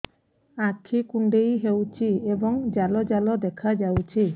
ଆଖି କୁଣ୍ଡେଇ ହେଉଛି ଏବଂ ଜାଲ ଜାଲ ଦେଖାଯାଉଛି